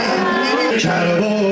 Heydər şur!